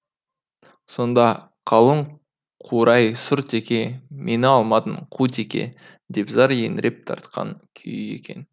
сонда қалың қурай сұр теке мені алмадың қу теке деп зар еңіреп тартқан күйі екен